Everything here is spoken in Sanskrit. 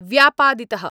व्यापादितः।